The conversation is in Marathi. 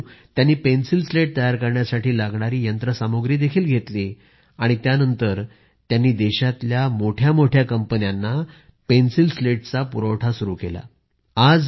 हळूहळू त्यांनी पेन्सिल स्लेट तयार करण्यासाठी लागणारी यंत्रसामुग्री देखील घेतली आणि त्या नंतर त्यांनी देशातल्या मोठ्या मोठ्या कंपन्यांना पेन्सिल सलेट्सचा पुरवठा सुरू केला